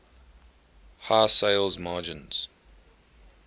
high sales margins